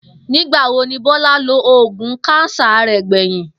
Nígbà wo ni Bó̩lá lo oògùn káńsà rè̩ gbè̩yìn?